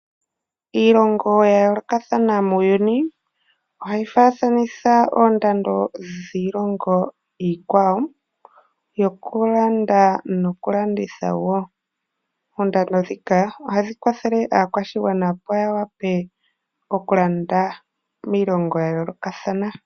Iilongo ya yoolokathana muuyuni ohayi faaathanitha oondando ndhiilongo iikwawo yokulanda nokulanditha woo . Oondando ndhika ohadhi kwathele aakwashigwana opo yawape okulanda miilando ya yoolokathana